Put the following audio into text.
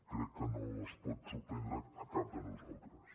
crec que no ens pot sorprendre a cap de nosaltres